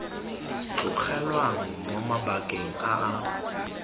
tlogelwang mo mabakeng a a